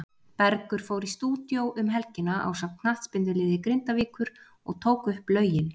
Bergur fór í stúdíó um helgina ásamt knattspyrnuliði Grindavíkur og tók upp lögin.